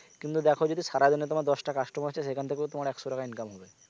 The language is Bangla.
কিন্তু দেখ যদি সারা দিনে তোমার দশটা customer আসছে সেখান থেকেও তোমার একশো টাকা income হবে